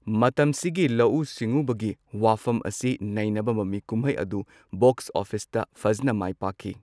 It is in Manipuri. ꯃꯇꯝꯁꯤꯒꯤ ꯂꯧꯎ ꯁꯤꯡꯎꯕꯒꯤ ꯋꯥꯐꯝ ꯑꯁꯤ ꯅꯩꯅꯕ ꯃꯃꯤꯀꯨꯝꯍꯩ ꯑꯗꯨ ꯕꯣꯛ꯭ꯁ ꯑꯣꯐꯤꯁꯇ ꯐꯖꯅ ꯃꯥꯢꯄꯥꯛꯈꯤ꯫